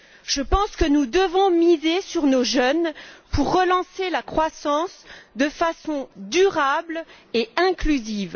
Je pense que nous devons miser sur nos jeunes pour relancer la croissance de façon durable et inclusive.